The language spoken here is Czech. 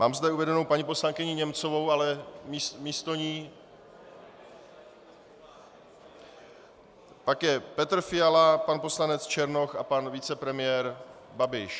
Mám zde uvedenou paní poslankyni Němcovou, ale místo ní... pak je Petr Fiala, pan poslanec Černoch a pan vicepremiér Babiš.